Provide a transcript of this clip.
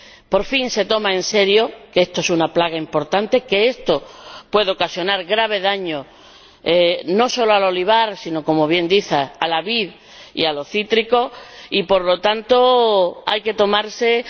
Por fin se toma en serio que esta es una plaga importante, que esto puede ocasionar graves daños no solo al olivar, sino ―como bien dice― a la vid y a los cítricos y, por lo tanto, hay que tomar medidas.